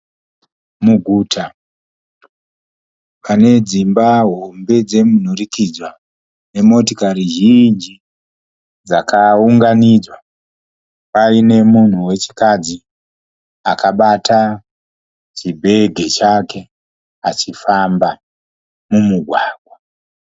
Muguta pane dzimba hombe dzemunhurukidzwa nemotikari zhinji dzakaunganidzwa. Paine munhu wechikadzi akabata chibhegi chake achifamba mumugwagwa.